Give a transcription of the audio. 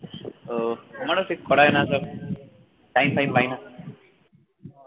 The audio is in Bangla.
ওহ আমারো সে করা হয় না তো time ফাইম পাই না